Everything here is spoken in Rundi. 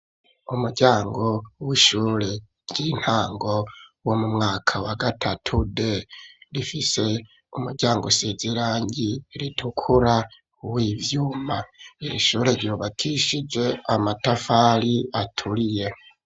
Umuryango w'ishure ry'intango wo mu mwaka wa gatatu D rifise umuryango usize irangi ritukura w'ivyuma ishure ryubakishije amatafari aturiye.